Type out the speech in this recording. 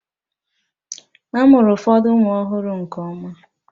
A mụrụ ụfọdụ ụmụ ọhụrụ nke ọma